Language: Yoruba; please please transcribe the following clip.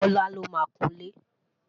bọla ló má kún ile